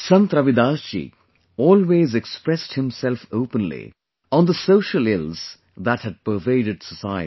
Sant Ravidas ji always expressed himself openly on the social ills that had pervaded society